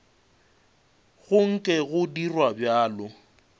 go nke go dirwa bjalo